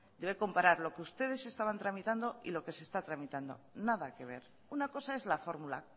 usted debe comparar lo que ustedes estaban tramitando y lo que se está tramitando nada que ver una cosa es la fórmula